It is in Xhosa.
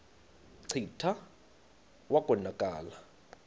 kclta wa konakala